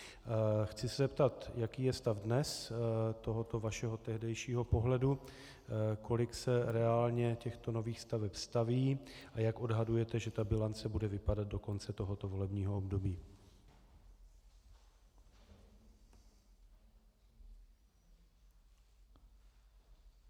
Chci se zeptat, jaký je stav dnes tohoto vašeho tehdejšího pohledu, kolik se reálně těchto nových staveb staví a jak odhadujete, že ta bilance bude vypadat do konce tohoto volebního období.